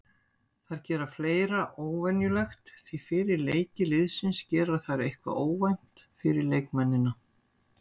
Þær gera fleira óvenjulegt því fyrir leiki liðsins gera þær eitthvað óvænt fyrir leikmennina.